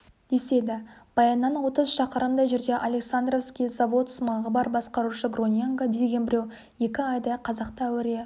деседі баяннан отыз шақырымдай жерде александровский заводсымағы бар басқарушы гроненго деген біреу екі айдай қазақты әуре